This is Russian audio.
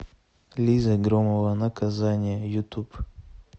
лиза громова наказание ютуб